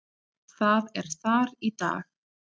Það er þar í dag.